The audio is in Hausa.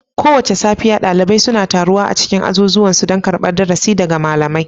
Kowace safiya, ɗalibai suna taruwa a cikin azuzuwan su, don karɓar darasi daga malamai